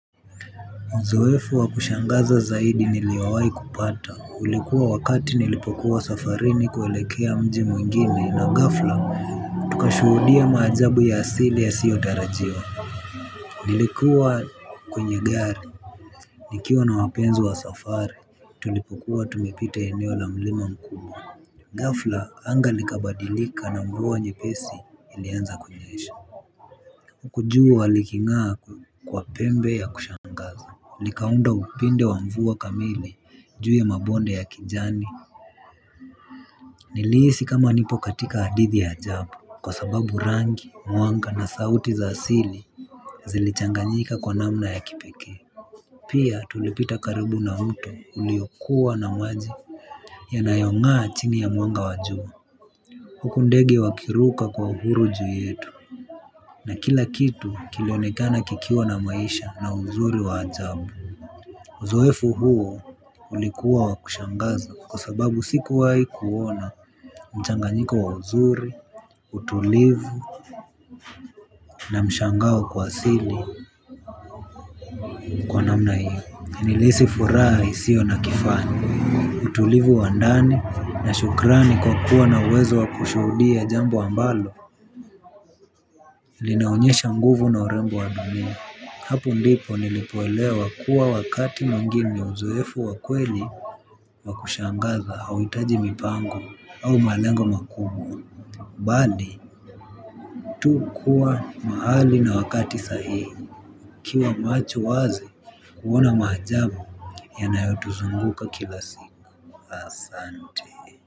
Uzoefu wa kushangaza zaidi niliowai kupata. Ulikuwa wakati nilipokuwa safarini kuelekea mji mwingine na ghafla tukashuhudia maajabu ya asili yasiyo tarajiwa. Nilikuwa kwenye gari. Nikiwa na wapenzi wa safari tulipokuwa tumepita eneo la mlima mkubwa. Ghafla anga likabadilika na mvua nyepesi ilianza kunyesha. Uku jua liking'aa kwa pembe ya kushangaza. Likaunda upinde wa mvua kamili juu ya mabonde ya kijani. Niliisi kama nipo katika hadithi ya ajabu kwa sababu rangi mwanga na sauti za asili zilichanganyika kwa namna ya kipekee. Pia tulipita karibu na mto uliokuwa na maji yanayong'aa chini ya mwanga wa jua huku ndege wakiruka kwa uhuru juu yetu. Na kila kitu kilionekana kikiwa na maisha na uzuri wa ajabu. Uzoefu huo ulikuwa wa kushangaza kwa sababu sikuwai kuona mchanganyiko wa uzuri, utulivu, na mshangao kwa asili. Wa namna hii, nilisi furaha isio na kifani. Utulivu wa ndani na shukrani kwa kuwa na uwezo wa kushuhudia jambo ambalo. Linaonyesha nguvu na urembo wa dunia. Hapu ndipo nilipoelewa kuwa wakati mwingine uzoefu wa kweli. Wa kushangaza hauitaji mipango au malengo makumbwa bali tu kuwa mahali na wakati sahihi ukiwa macho wazi kuona maajabu yanayotuzunguka kila siku asante.